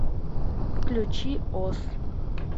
включи оз